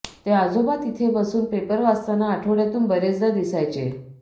ते आजोबा तिथे बसून पेपर वाचताना आठवड्यातून बरेचदा दिसायचे